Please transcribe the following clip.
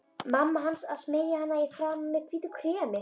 Mamma hans að smyrja hana í framan með hvítu kremi.